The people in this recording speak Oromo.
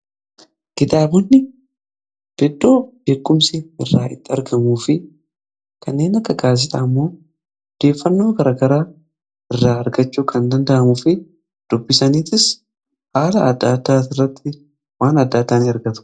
Kitaabonni iddoo beekumsi irraa itti argamu fi kanneen akka gaazexaa ammoo odeeffannoo garagaraa irraa argachuu kan danda'amuu fi dubbisaniitis haala adda addaa irratti waan adda addaa ni ergatu.